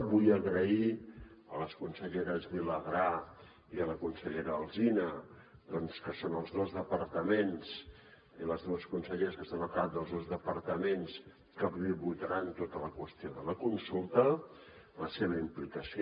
vull agrair a la consellera vilagrà i a la consellera alsina que són les dues conselleres que estan al cap dels dos departaments que pivotaran tota la qüestió de la consulta la seva implicació